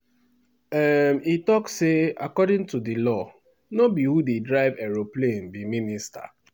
um e tok say according to di law "no be who dey drive aeroplane be minister".